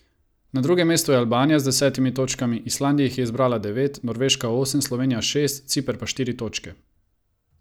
Na drugem mestu je Albanija z desetimi točkami, Islandija jih je zbrala devet, Norveška osem, Slovenija šest, Ciper pa štiri točke.